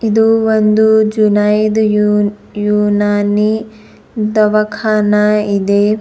ಇದು ಒಂದು ಜುನೈದ್ ಉನ್ ಉನಾನಿ ದವಾಖಾನ ಇದೆ.